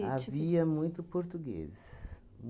Havia muito português.